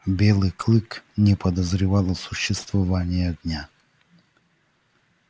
белый клык не подозревал о существовании огня